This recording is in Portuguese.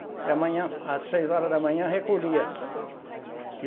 E a manhã, às seis horas da manhã, recolhia.